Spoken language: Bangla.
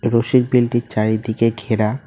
রসিক বিলটি চারিদিকে ঘেরা।